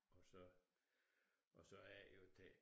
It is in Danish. Og så og så er det jo det